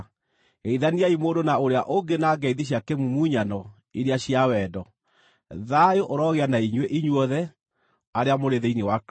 Geithaniai mũndũ na ũrĩa ũngĩ na ngeithi cia kĩmumunyano iria cia wendo. Thayũ ũrogĩa na inyuĩ inyuothe arĩa mũrĩ thĩinĩ wa Kristũ.